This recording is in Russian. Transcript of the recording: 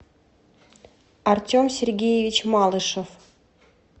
артем сергеевич малышев